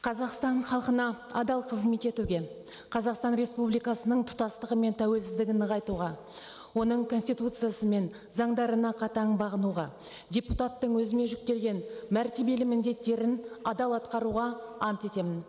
қазақстан халқына адал қызмет етуге қазақстан республикасының тұтастығы мен тәуелсіздігін нығайтуға оның конституциясы мен заңдарына қатаң бағынуға депутаттың өзіме жүктелген мәртебелі міндеттерін адал атқаруға ант етемін